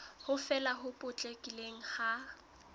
ho fela ho potlakileng ha